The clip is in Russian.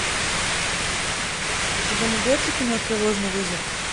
у тебя найдется кино тревожный вызов